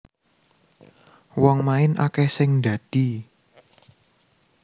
Wong main akeh sing ndadi